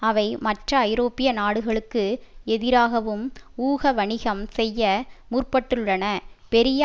அவை மற்ற ஐரோப்பிய நாடுகளுக்கு எதிராகவும் ஊக வணிகம் செய்ய முற்பட்டுள்ளனபெரிய